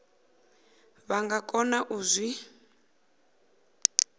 vha nga kona u zwi